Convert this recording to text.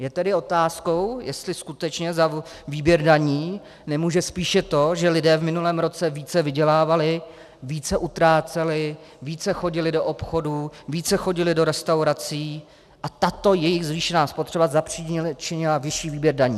Je tedy otázkou, jestli skutečně za výběr daní nemůže spíše to, že lidé v minulém roce více vydělávali, více utráceli, více chodili do obchodů, více chodili do restaurací a tato jejich zvýšená spotřeba zapříčinila vyšší výběr daní.